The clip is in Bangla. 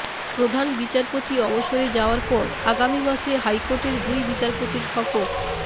প্রধান বিচারপতি অবসরে যাওয়ার পর আগামী মাসে হাইকোর্টের দুই বিচারপতির শপথ